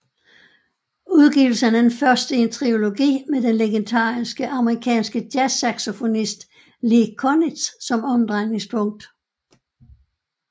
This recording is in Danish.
Udgivelsen er den første i en triologi med den legendariske amerikanske jazzsaxofonist Lee Konitz som omdrejningspunkt